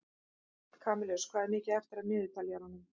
Kamilus, hvað er mikið eftir af niðurteljaranum?